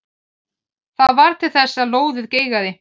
Það varð til þess að lóðið geigaði.